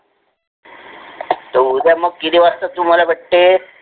त उद्या मंग किती वाजता तू मला भेटते?